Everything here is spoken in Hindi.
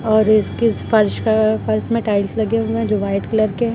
और इस किस फर्श अ फर्श में टाइल्स लगे हुए हैं जो व्हाइट कलर के हैं।